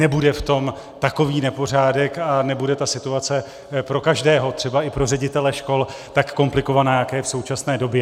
Nebude v tom takový nepořádek a nebude ta situace pro každého, třeba i pro ředitele škol, tak komplikovaná, jaká je v současné době.